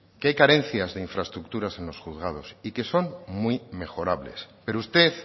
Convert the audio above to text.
que hay carencias de infraestructuras en los juzgados y que son muy mejorables pero usted